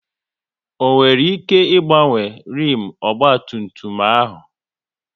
Ọ nwere ike ị gbanwe rimu ọgba tum tum ahụ?